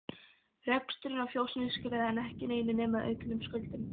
Reksturinn á fjósinu skilaði enn ekki neinu nema auknum skuldum.